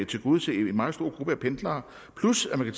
tilgodese en meget stor gruppe pendlere plus at man